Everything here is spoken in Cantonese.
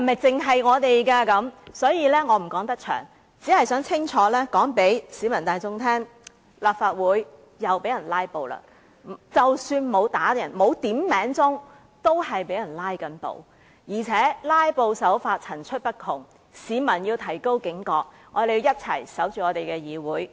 因此，我不能長篇大論，只想清楚告訴市民大眾，立法會又被人"拉布"了，即使沒有要求響鐘點算人數，也是正在被人"拉布"，而且"拉布"手法層出不窮，市民要提高警覺，讓我們一起守護我們的議會。